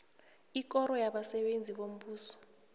ikoro yabasebenzi bombuso